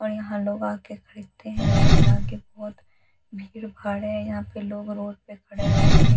और यहां लोग आ के खरीदते है जिसके आगे बहुत भीड़-भाड़ है यहां पे लोग रोड पे खड़े हुए हैं गाड़ी--